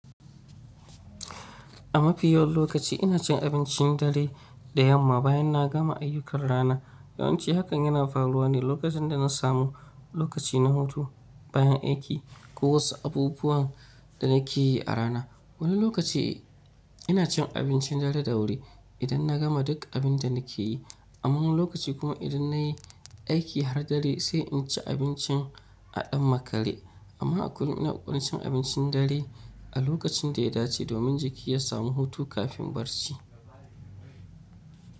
A mafi yawan lokaci ina cin abincin dare da yamma bayan na gama ayyukan rana. Yawan ci hakan yana faruwa ne lokacin da na samu lokaci na hutu bayan aiki ko wasu abubuwan da nake yi a rana. Wani lokaci ina cin abincin dare da wuri idan na gama duk abin da nake yi. Amma wani lokaci kuma idan na yi aiki har dare sai in ci abinci a ɗan makale. Amma a kullum ina ƙwaƙwalcin abincin dare a lokacin da ya dace domin jiki ya samu hutu kafin barci.